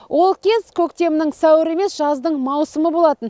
ол кез көктемнің сәуірі емес жаздың маусымы болатын